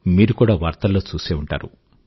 మీరు కూడా వార్తల్లో చూసే ఉంటారు